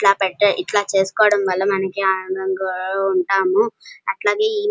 ఇట్లా పెట్ట ఇట్లా చేస్కోవడం వల్ల మనకు ఆనందంగా ఉంటాము అట్లాగే ఈ --